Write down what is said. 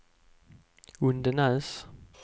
Undenäs